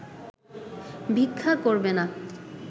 ভিক্ষা করবে না